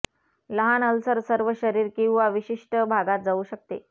लहान अल्सर सर्व शरीर किंवा विशिष्ट भागात जाऊ शकते